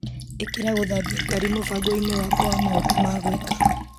ĩkĩra gũthambia ngari mũbango-inĩ wakwa wa maũndũ ma gwĩka.